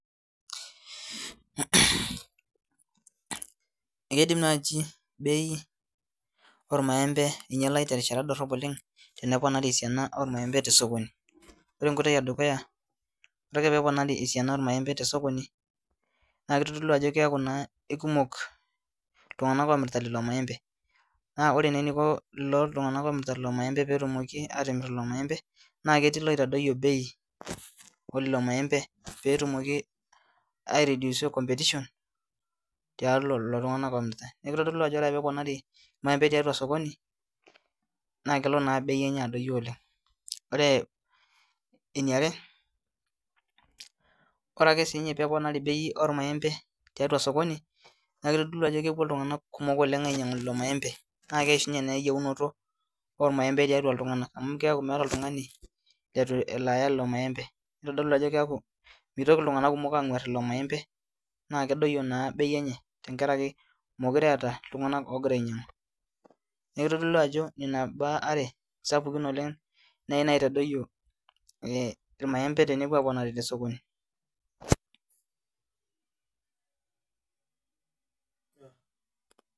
MHh Ekeidim naaji bei ormaembe ainyialai terishata dorrop oleng teneponari esiana ormaembe tesokoni ore enkoitoi edukuyaore ake peeponari esiana ormaembe tesokoni naa kitodolui ajo keeku naa ikumok iltung'anak omirta lelo maembe naa ore naa eniko lelo tung'anak omirta lelo petumoki atimirr lelo maembe naa ketii iloitadoyio bei olelo maembe petumoki ae rediusa competetion tialo lolo tung'anak omirta niaku kitodolu ajo ore peponari irmaembe tiatua sokoni naa kelo naa bei enye adoyio oleng ore eniare eniare ore ake siinye peponari bei ormaembe tiatua sokoni naa kitodolu ajo kepuo iltung'anak kumok oleng ainyiang'u lelo maembe naa keishunye naa eyieunoto ormaembe tiatua iltung'anak amu keeku meeta oltung'ani letu elo aaya lelo maembe nitodolu ajo keaku mitoki iltung'anak kumok ang'uarr lelo maembe naa kiaku kedoyio naa bei enye tenkarake mekure eeta iltung'anak ogira ainyiang'u niaku kitodolu ajo nena imbaa are sapukin oleng nai naitadoyio eh irmaembe tenepuo aponari tesokoni[pause'].